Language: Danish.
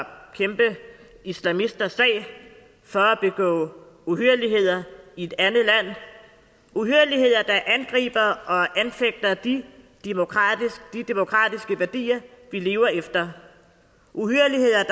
kæmpe islamisters sag for at begå uhyrligheder i et andet land uhyrligheder der angriber og anfægter de demokratiske demokratiske værdier vi lever efter uhyrligheder